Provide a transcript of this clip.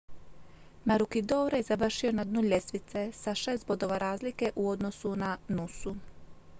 maroochydore je završio na dnu ljestvice sa šest bodova razlike u odnosu na noosu